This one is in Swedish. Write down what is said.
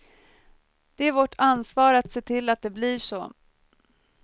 Det är vårt ansvar att se till att det blir så.